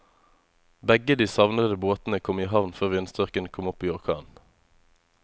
Begge de savnede båtene kom i havn før vindstyrken kom opp i orkan.